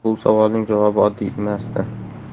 Bu savolning javobi oddiy emasdi.